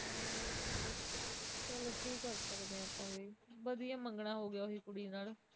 ਚਲ ਕਿ ਕਰ ਸਕਦੇ ਆ ਆਪਾਂ ਵੀ ਵਧਿਆ ਮੰਗਣਾ ਹੋ ਗਿਆ ਉਹੀ ਕੁੜੀ ਨਾਲ